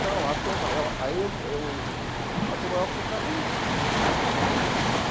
Não, a Tom Maior aí eu eu... A Tom Maior foi para a Liga.